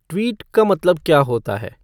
tweet का मतलब क्या होता है